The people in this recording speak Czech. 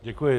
Děkuji.